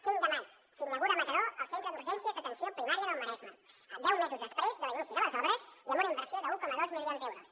cinc de maig s’inaugura a mataró el centre d’urgències d’atenció primària del maresme deu mesos després de l’inici de les obres i amb una inversió d’un coma dos milions d’euros